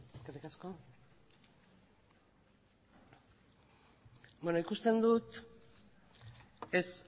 eskerrik asko ikusten dut ez